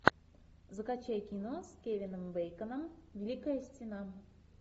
закачай кино с кевином бейконом великая стена